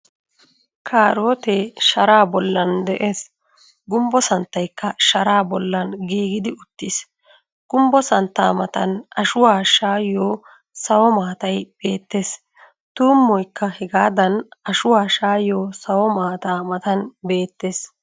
Kaarootee sharaa bollan de'ees. Gumbbo santtaykka sharaa bollan giigidi uttiis. Gumbbo santtaa matan ashuwa shaayiyo sawumatay beettees. Tummoykka hegaadan ashuwa shaayiyo sawo maataa matan beettees.